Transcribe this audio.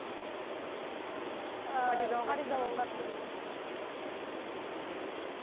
ыыы фариза оңғарсынова